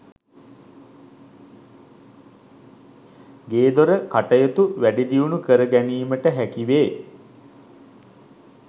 ගේදොර කටයුතු වැඩිදියුණු කර ගැනීමට හැකිවේ.